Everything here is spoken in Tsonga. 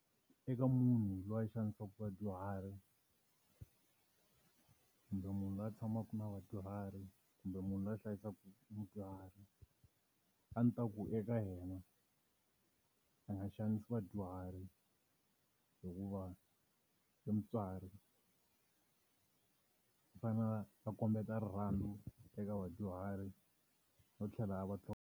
Eka munhu loyi a xanisaka vadyuhari kumbe munhu loyi a tshamaka na vadyuhari, kumbe munhu loyi a hlayisaka mudyuhari. A ndzi ta ku eka yena va nga xanisa vadyuhari, hikuva i mutswari. U fanele va va kombeta rirhandzu eka vadyuhari no tlhela a va .